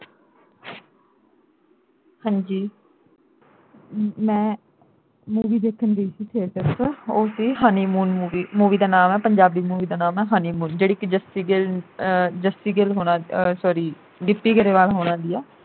ਹਾਜੀ ਮੈਂ movie ਦੇਖਣ ਗਈ ਸੀ theatre ਵਿਚ ਉਹ ਸੀ honeymoon movie ਦਾ ਨਾਮ ਆ ਪੰਜਾਬੀ movie ਦਾ ਨਾਮ ਆ honeymoon ਜਿਹੜੀ ਕਿ ਜੱਸੀ ਗਿੱਲ ਆਹ ਜੱਸੀ ਗਿੱਲ ਹੋਣਾ ਆਹ sorry ਗਿੱਪੀ ਗਰੇਵਾਲ ਹੋਣਾ ਦੀ ਆ।